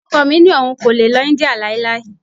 Ọkọ mi ní òun kò lè lọ India láéláé.